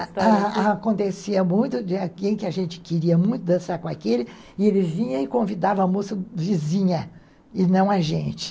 Acontecia muito de alguém que a gente queria muito dançar com aquele e ele vinha e convidava a moça vizinha e não a gente.